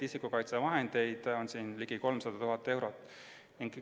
Isikukaitsevahendeid on hangitud ligi 300 000 euro eest.